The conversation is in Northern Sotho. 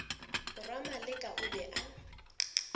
morwa maleka o be a